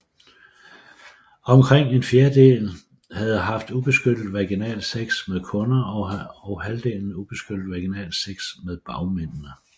Omkring en fjerdedel havde haft ubeskyttet vaginalsex med kunder og halvdelen ubeskyttet vaginalsex med bagmændene